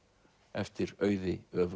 eftir Auði